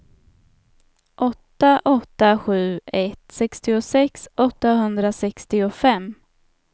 åtta åtta sju ett sextiosex åttahundrasextiofem